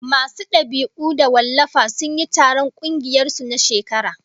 Masu dab'i da wallafa sun yi taron kungiyar su na shekara